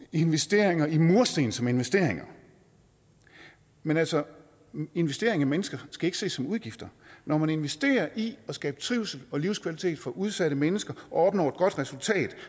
investeringer i mursten som investeringer men altså investeringer i mennesker skal ikke ses som udgifter når man investerer i at skabe trivsel og livskvalitet for udsatte mennesker og opnår et godt resultat